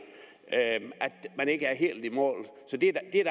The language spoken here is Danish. at man ikke er helt i mål så det er da